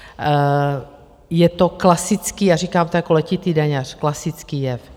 Je to klasický - a říkám to jako letitý daňař - klasický jev.